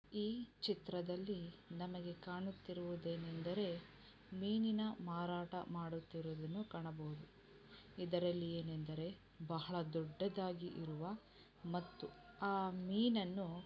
ಈ ಚಿತ್ರದಲ್ಲಿ ನಮಗೆ ಕಾಣುತ್ತಿರುವದೇನೆಂದ್ರೆ ಮೀನಿನ ಮಾರಾಟ ಮಾಡುತ್ತಿರುವುದೆನ್ನು ಕಾಣಬಹುದು. ಇದರಲ್ಲಿ ಏನೆಂದ್ರೆ ಭಹಳ ದೊಡ್ಡದಾಗಿ ಇರುವ ಮತ್ತು ಆ ಮೀನನ್ನು--